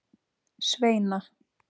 Sveina